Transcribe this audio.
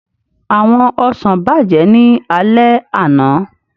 Àwọn ọsàn bàjẹ́ ní alẹ́ àná